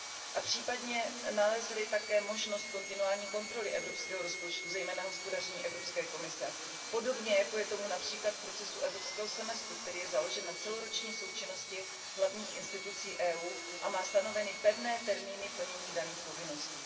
A případně nalezli také možnost kontinuální kontroly evropského rozpočtu, zejména hospodaření Evropské komise, podobně jako je tomu například v procesu evropského semestru, který je založen na celoroční součinnosti hlavních orgánů Evropské unie a má stanoveny pevné termíny plnění daných povinností.